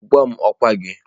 Gwa m ọkwa gị.